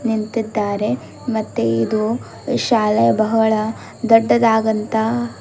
ನಿಂತಿದ್ದಾರೆ ಮತ್ತೆ ಇದು ಶಾಲೆ ಬಹಳ ದೊಡ್ಡದಾಗಂತ--